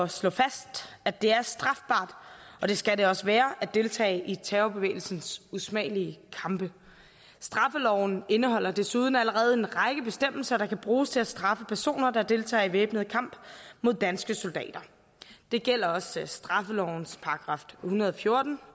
slå fast at det er strafbart og det skal det også være at deltage i terrorbevægelsens usmagelige kampe straffeloven indeholder desuden allerede en række bestemmelser der kan bruges til at straffe personer der deltager i væbnet kamp mod danske soldater det gælder også straffelovens § en hundrede og fjorten